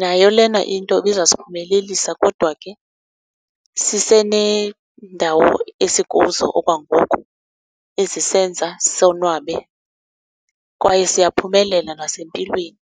Nayo lena into ibizasiphumelelisa kodwa ke siseneendawo esikuzo okwangoku ezisenza sonwabe kwaye siyaphumelela nasempilweni.